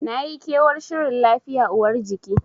Nayi kewar shirin lafiya uwar jiki.